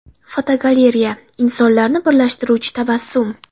Fotogalereya: Insonlarni birlashtiruvchi tabassum.